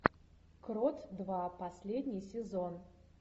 крот два последний сезон